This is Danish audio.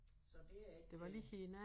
Så det er ikke øh